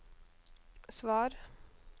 svar